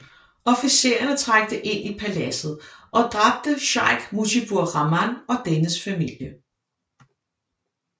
Officererne trængte ind i paladset og dræbte Sheikh Mujibur Rahman og dennes familie